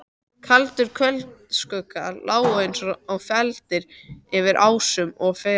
Kaldir kvöldskuggar lágu eins og feldir yfir ásum og fellum.